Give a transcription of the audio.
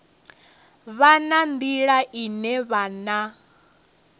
vha na nḓila ine vhana